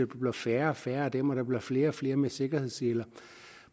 bliver færre og færre af dem og der bliver flere og flere med sikkerhedsseler